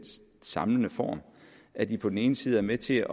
samlende form at de på den ene side er med til